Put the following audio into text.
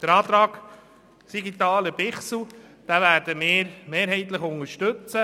Den Antrag Siegenthaler/Bichsel werden wir mehrheitlich unterstützen.